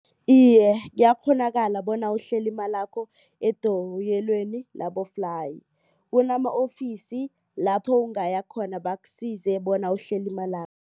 Iye, kuyakghonakala bona uhlele imalakho edoyelweni laboflayi. Kunama-ofisi lapho ungayakhona bakusize bona uhlele imalakho.